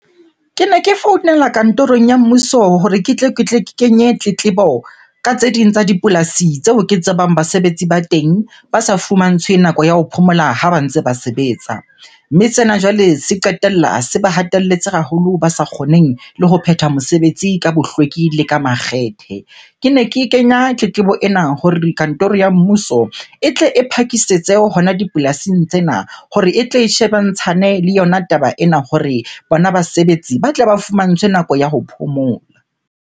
Kene ke founela kantorong ya mmuso hore ke tle ke kenye tletlebo ka tse ding tsa dipolasi tseo ke tsebang basebetsi ba teng ba sa fumantshwe nako ya ho phomola ha ba ntse ba sebetsa. Mme sena jwale se qetella se ba hatelletse haholo, ba sa kgoneng le ho phetha mosebetsi ka bohlweki le ka makgethe. Kene ke kenya tletlebo ena hore kantoro ya mmuso e tle e phakisetse hona dipolasing tsena hore e tle e shebantshane le yona taba ena hore bona basebetsi ba tle ba fumantshwe nako ya ho phomola.